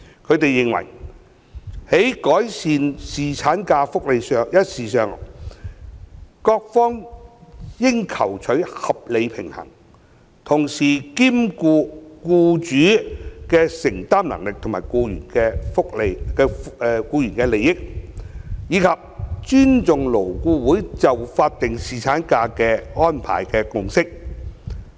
他們認為，在改善侍產假福利一事上，各方應求取合理平衡，同時兼顧僱主的承擔能力及僱員的利益，以及尊重勞顧會就法定侍產假安排的共識。